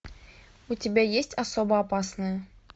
у тебя есть особо опасные